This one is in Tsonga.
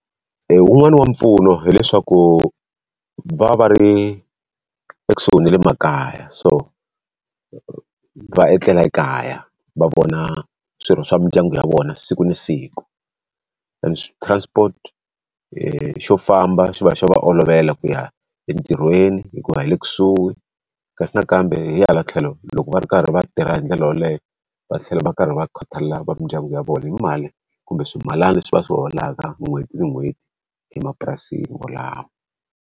wun'wani wa mpfuno hileswaku va va va ri ekusuhi na le makaya, so va etlela ekaya, va vona swirho swa mindyangu ya vona siku na siku. transport xo famba xi va xi va olovela ku ya entirhweni hikuva hi le kusuhi, kasi nakambe hi hala tlhelo loko va ri karhi va tirha hi ndlela yaleyo va tlhela va karhi va khathalela mindyangu ya vona hi mali kumbe swimilana leswi va swi holaka n'hweti ni n'hweti emapurasini wolawo.